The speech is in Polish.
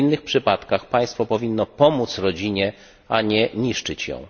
W innych przypadkach państwo powinno pomóc rodzinie, a nie niszczyć ją.